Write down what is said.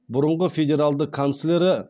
бұрынғы федералды канцлері